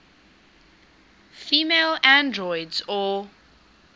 female androids or